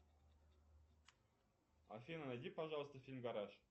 афина найди пожалуйста фильм гараж